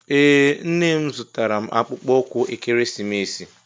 Ee nne m zụtara m akpụkpọ ụkwụ ekeresimesi